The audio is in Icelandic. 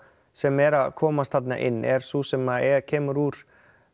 sem er að komast þarna inn er sú sem kemur úr